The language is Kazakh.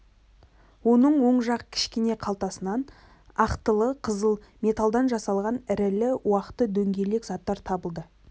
оның оң жақ кішкене қалтасынан ақтылы-қызыл металдан жасалған ірілі-уақты дөңгелек заттар табылды